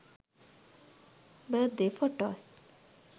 birthday photos